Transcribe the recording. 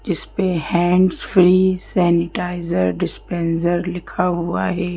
इस पे hands free sanitiser dispenser लिखा हुआ है।